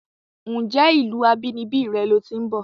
Ǹjé ìlúu abínibí re lo ti ń bò?